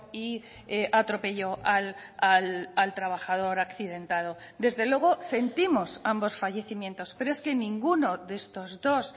y atropelló al trabajador accidentado desde luego sentimos ambos fallecimientos pero es que ninguno de estos dos